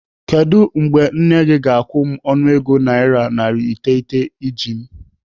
Kedụ mgbe nne gị ga-akwụ m ọnụego naira narị iteghete iji m?